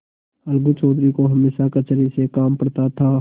अलगू चौधरी को हमेशा कचहरी से काम पड़ता था